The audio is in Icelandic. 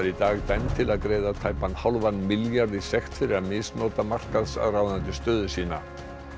í dag dæmd til að greiða tæpan hálfan milljarð í sekt fyrir að misnota markaðsráðandi stöðu sína